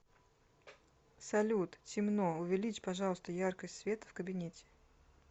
салют темно увеличь пожалуйста яркость света в кабинете